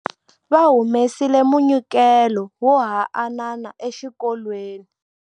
Va humesile munyikelo wo haanana exikolweni.